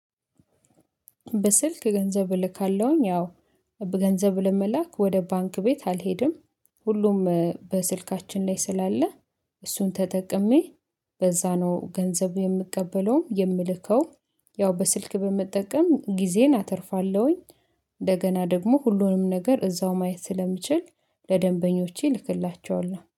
በስልክ ገንዘብ እልካለሁኝ ያው ገንዘብ ለመላክ ወደ ባንክ ቤት አልሄድም ሁሉም በስልካችን ላይ ስላለ እሱን ተጠቅሜ በዛ ነው ገንዘቡ የምቀበለውም የምልከው። ያው በስልክ በመጠቀም ጊዜን አተርፋለሁኝ። እንደገና ደግሞ ሁሉንም ነገር እዛው ማየት ስለምችል ለደንበኞቼ እልክላቸዋለሁ